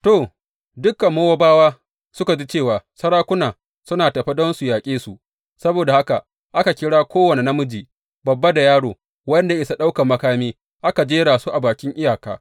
To, dukan Mowabawa suka ji cewa sarakuna suna tafe don su yaƙe su; saboda haka aka kira kowane namiji, babba da yaro, wanda ya isa ɗaukan makami, aka jera su a bakin iyaka.